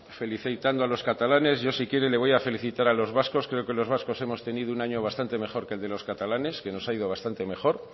felicitando a los catalanes yo si quiere se le voy a felicitar a los vascos creo que los vascos hemos tenido un año bastante mejor que el de los catalanes que nos ha ido bastante mejor